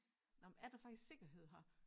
Nåh men er der faktisk sikkerhed her